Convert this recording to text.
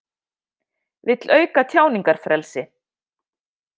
Vill auka tjáningarfrelsi